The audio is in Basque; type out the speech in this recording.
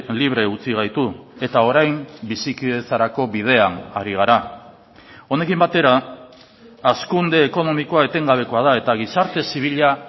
libre utzi gaitu eta orain bizikidetzarako bidean ari gara honekin batera hazkunde ekonomikoa etengabekoa da eta gizarte zibila